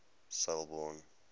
selborne